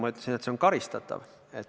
Ma ütlesin, et see on karistatav.